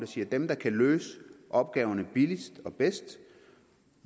siger at dem der kan løse opgaverne billigst og bedst